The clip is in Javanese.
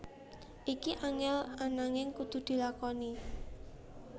Iki angel ananging kudu dilakoni